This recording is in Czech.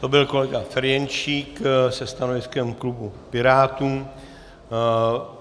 To byl kolega Ferjenčík se stanoviskem klubu Pirátů.